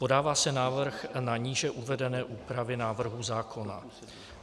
Podává se návrh na níže uvedené úpravy návrhu zákona.